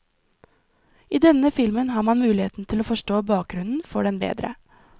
I denne filmen har man muligheten til å forstå bakgrunnen for den bedre.